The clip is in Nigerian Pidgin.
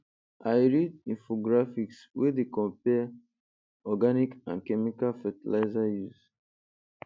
i read infographics wey dey compare organic and chemical fertilizer use